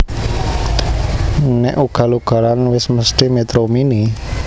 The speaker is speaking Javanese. Nek ugal ugalan wes mesthi Metro Mini